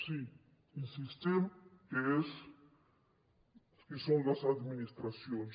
sí insistim que són les administracions